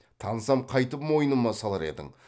тансам қайтіп мойныма салар едің